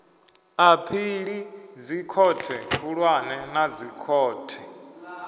aphili dzikhothe khulwane na dzikhothe